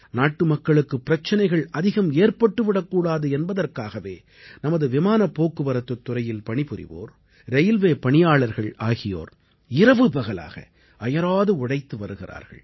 நாட்டுமக்களுக்கு பிரச்சனைகள் அதிகம் ஏற்பட்டு விடக்கூடாது என்பதற்காகவே நமது விமானப் போக்குவரத்துத் துறையில் பணிபுரிவோர் ரயில்வே பணியாளர்கள் ஆகியோர் இரவுபகலாக அயராது உழைத்து வருகிறார்கள்